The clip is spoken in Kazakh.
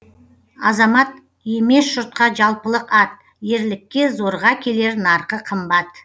азамат емес жұртқа жалпылық ат ерлікке зорға келер нарқы қымбат